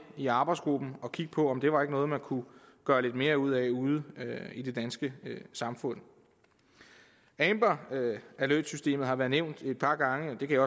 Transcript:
i arbejdsgruppen og kigge på om det var noget man kunne gøre lidt mere ud af i det danske samfund amber alert systemet har været nævnt et par gange og det kan